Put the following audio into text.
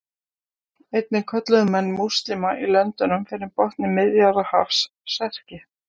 Einnig kölluðu menn múslíma í löndunum fyrir botni Miðjarðarhafs Serki.